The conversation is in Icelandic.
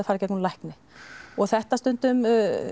fara í gegnum lækni og þetta